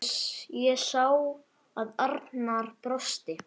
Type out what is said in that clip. Ég sá að Arnar brosti.